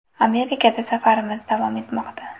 Amerikada safarimiz davom etmoqda.